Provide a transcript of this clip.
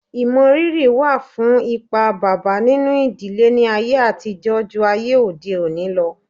Ìmọrírì wà fún ipa bàbá nínú ìdílé ní ayé àtijọ́ jù ayé òde òni lọ